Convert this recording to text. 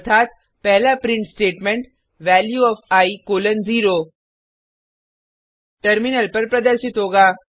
अर्थात पहला print statement value of I colon 0 terminal पर प्रदर्शित होगा